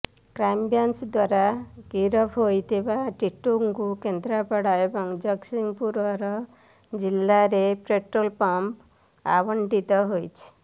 crime branch ଦ୍ୱାରା ଗିରଫ ହୋଇଥିବା ଟିଟୋକୁ କେନ୍ଦ୍ରାପଡ଼ା ଏବଂ ଜଗତସିଂହପୁର ଜିଲ୍ଲାରେ ପେଟ୍ରୋଲ ପମ୍ପ ଆବଣ୍ଟିତ ହୋଇଛି